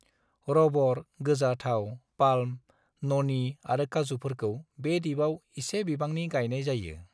Rubber, गोजा थाव, palm, न'नी आरो काजूफोरखौ बे दिपआव एसे बिबांनि गायनाय जायो।